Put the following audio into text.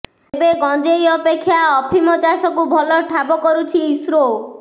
ତେବେ ଗଂଜେଇ ଅପେକ୍ଷା ଅଫିମ ଚାଷକୁ ଭଲ ଠାବ କରୁଛି ଇସ୍ରୋ